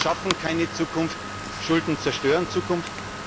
Schulden schaffen keine Zukunft, Schulden zerstören Zukunft.